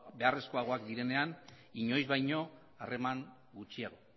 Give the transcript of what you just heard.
beharrezkoagoak direnean inoiz baino harreman gutxiago